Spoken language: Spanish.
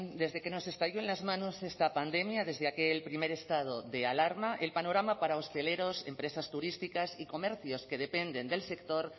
desde que nos estalló en las manos esta pandemia desde aquel primer estado de alarma el panorama para hosteleros empresas turísticas y comercios que dependen del sector